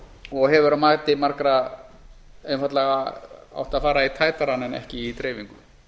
og hefur að mati margra einfaldlega átt að fara í tætarann en ekki í dreifingu